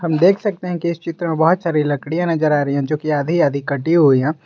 देख सकते हैं कि इस चित्र में बहोत सारी लकड़ियां नजर आ रही है जो की आधी आधी कटी हुई है।